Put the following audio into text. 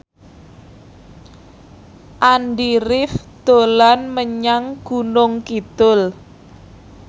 Andy rif dolan menyang Gunung Kidul